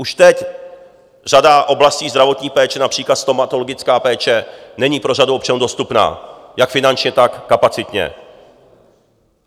Už teď řada oblastí zdravotní péče, například stomatologická péče, není pro řadu občanů dostupná jak finančně, tak kapacitně.